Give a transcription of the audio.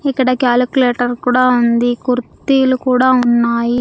ఇక్కడ క్యాలిక్యులేటర్ కూడా ఉంది కుర్తీలు కూడా ఉన్నాయి.